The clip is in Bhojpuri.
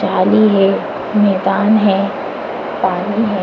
जाली है मैदान है पानी है।